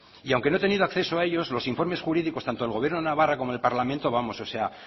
y aunque no he tenido acceso a ellos los informes jurídicos tanto del gobierno de navarra como del parlamento vamos